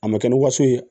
A ma kɛ ni waso ye